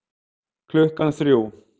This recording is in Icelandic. Klukkan þrjú